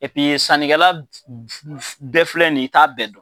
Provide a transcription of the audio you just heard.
sannikɛla bɛɛ filɛ nin ye i t'a bɛɛ dɔn.